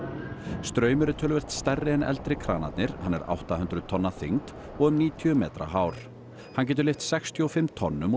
straumur er töluvert stærri en eldri kranarnir hann er átta hundruð tonn að þyngd og um níutíu metra hár hann getur lyft sextíu og fimm tonnum og